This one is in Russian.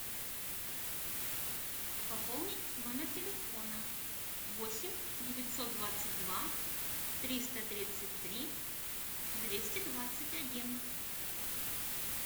пополнить номер телефона восемь девятьсот двадцать два триста тридцать три двести двадцать один